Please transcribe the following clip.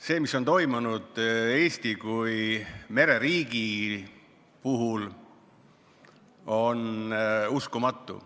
See, mis on toimunud Eesti kui mereriigi puhul, on uskumatu.